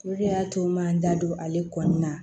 Olu de y'a to n ma n da don ale kɔni na